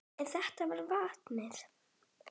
En þetta með vatnið?